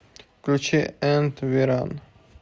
включи энд ви ран